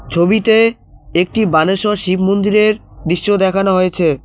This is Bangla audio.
ছবিতে একটি বানেশ্বর শিব মন্দিরের দিশ্য দেখানো হয়েছে।